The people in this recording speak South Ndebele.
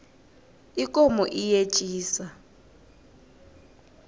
ikomo iyetjisa